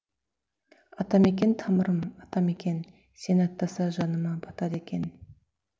атамекен тамырым атамекен сені аттаса жаныма батады екен